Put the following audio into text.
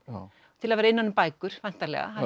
til að vera innan um bækur væntanlega